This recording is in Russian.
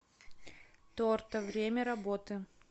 торта время работы